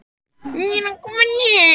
Eldhúsdyrnar eru gegnt stofuhurðinni.